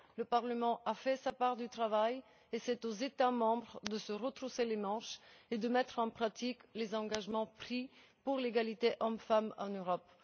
Le Parlement a fait sa part du travail et c'est aux États membres de se retrousser les manches et de mettre en pratique les engagements qu'ils ont pris pour l'égalité hommes femmes en Europe.